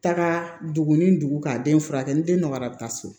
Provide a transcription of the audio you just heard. Taga dugu ni dugu ka den furakɛ ni den nɔgɔyara a bɛ taa so